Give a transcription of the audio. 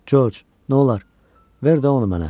Corc, nolur, ver də onu mənə.